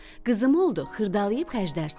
Qızım oldu, xırdalayıb xərclərsən.”